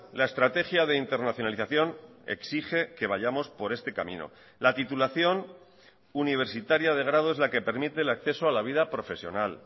la estrategia de internacionalización exige que vayamos por este camino la titulación universitaria de grado es la que permite el acceso a la vida profesional